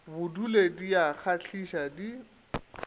bodule di a kgahliša di